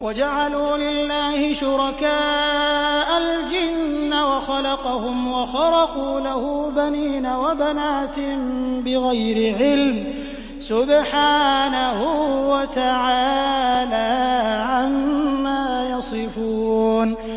وَجَعَلُوا لِلَّهِ شُرَكَاءَ الْجِنَّ وَخَلَقَهُمْ ۖ وَخَرَقُوا لَهُ بَنِينَ وَبَنَاتٍ بِغَيْرِ عِلْمٍ ۚ سُبْحَانَهُ وَتَعَالَىٰ عَمَّا يَصِفُونَ